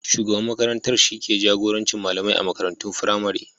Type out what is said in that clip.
Shugaban makarantar shi ke jagorancin malamai a makarantun firamare.